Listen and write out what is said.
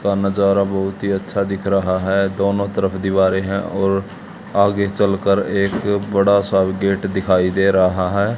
का नजारा बहुत ही अच्छा दिख रहा है दोनों तरफ दीवारें हैं और आगे चल कर एक बड़ा सा गेट दिखाई दे रहा है।